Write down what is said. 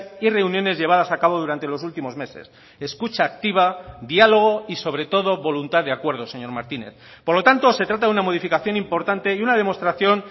y reuniones llevadas a cabo durante los últimos meses escucha activa diálogo y sobre todo voluntad de acuerdo señor martínez por lo tanto se trata de una modificación importante y una demostración